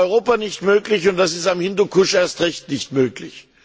Das war in Europa nicht möglich, und das ist am Hindukusch erst recht nicht möglich.